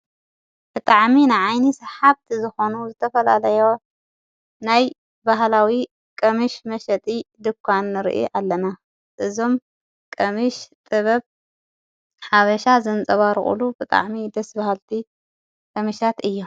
ብጥዓሚ ንዓይኒ ስሓብቲ ዝኾኑ ዘተፈላለየ ናይ ባህላዊ ቐምሽ መሸጢ ድኳን ርኢ ኣለና እዞም ቀምሽ ጥበብ ሓበሻ ዘንጸባርቑሉ ብጥዕሚ ደስቢሃልቲ ቐምሻት እዮ።